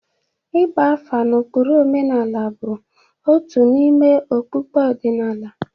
Ịgba afa na ụkpụrụ omenala bụ otu n'ime okpukpe ọdịnala.